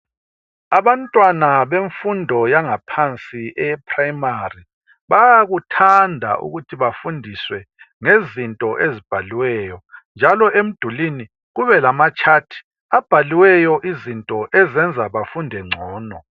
Abantwana bemfundo yangaphansi eprimary bayakuthanda ukuthi bafundiswe ngezinto ezibhaliweyo njalo emdulini kube lamatshathi abhaliweyo izinto ezenza bafunde ngcono.